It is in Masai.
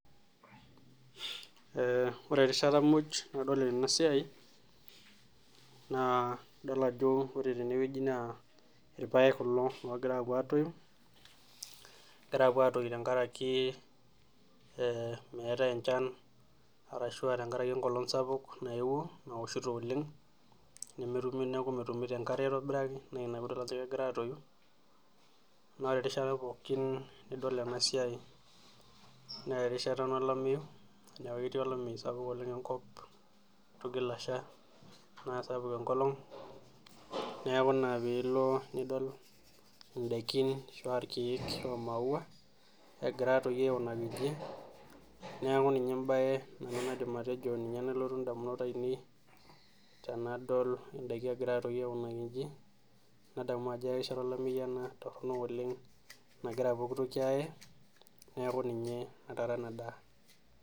Ore erishata muj nadol ena siai naa adol ajo irpaek kulo ogira apuo atoyu, egira apuo atoyu tenkaraki meetae enchan arashu tenkaraki enkolong sapuk nayeuo naoshito oleng, neeku metumito enkare aitobiraki naa ina pee idolita ajo egira atoyu naa ore erishata pookin nidol ena siai naa erishata ena olameyu, neeku ketii olameyu sapuk enkop ,eitu egil asah neeku sapuk olameyu tenkop ,neeku ina ore pee ilo nidol indaikin ,irkeek imauwa egira atoyu aikunaki inchi, neeku ninye embae nanu naaidim atejo nalotu ndamunot ainei tenadol ndaiki egira atoyu aikunaki njii, nadamu ajo erishata olameyu ena toronok oleng nagira pooki toki ayee neeku ninye natara ena daa.